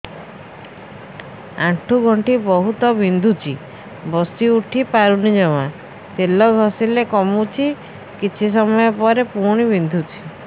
ଆଣ୍ଠୁଗଣ୍ଠି ବହୁତ ବିନ୍ଧୁଛି ବସିଉଠି ପାରୁନି ଜମା ତେଲ ଘଷିଲେ କମୁଛି କିଛି ସମୟ ପରେ ପୁଣି ବିନ୍ଧୁଛି